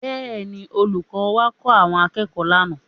Bẹ́ẹ̀ni, olùkọ́ wá kọ́ àwọn akẹ́kọ̀ọ́ lánàá